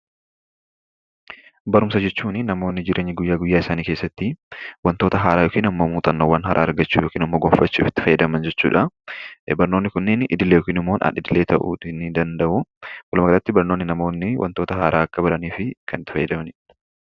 Barumsa jechuun namoonni jireenya isaanii guyyaa guyyaa keessatti wantoota haaraa yookan muuxannoowwan haaraa argachuuf yookaan goonfachuuf itti fayyadamani jechuudha. Barnoonni kunneen idilee yookaan alidilee ta'uu nidanda'u. Walumaagalatti namoonni wantoota haara akka baraniif kan itti fayyadamanidha.